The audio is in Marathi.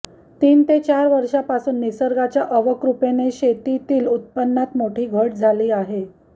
तीन ते चार वर्षांपासून निसर्गाच्या अवकृपेने शेतीतील उत्पन्नात मोठी घट झाली आहे